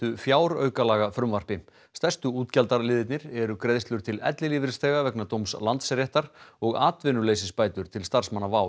fjáraukalagafrumvarpi stærstu útgjaldaliðirnir eru greiðslur til ellilífeyrisþega vegna dóms Landsréttar og atvinnuleysisbætur til starfsmanna WOW